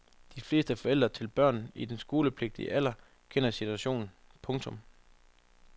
De fleste forældre til børn i den skolepligtige alder kender situationen. punktum